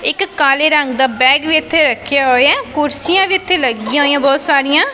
ਇੱਕ ਕਾਲੇ ਰੰਗ ਦਾ ਬੈਗ ਵੀ ਇੱਥੇ ਰੱਖਿਆ ਹੋਇਐ ਕੁਰਸੀਆਂ ਵੀ ਇੱਥੇ ਲੱਗੀਆਂ ਹੋਈਐਂ ਬਹੁਤ ਸਾਰੀਆਂ।